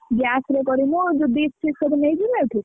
Gas ରେ କରିବୁ ଯଦି dish ଫିସ୍‌ ଏଠୁ ନେଇଯିବାନି?